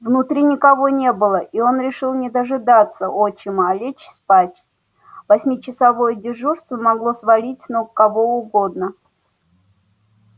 внутри никого не было и он решил не дожидаться отчима а лечь спать восьмичасовое дежурство могло свалить с ног кого угодно